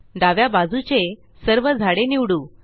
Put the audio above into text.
डाव्या बाजूचे सर्व झाडे निवडू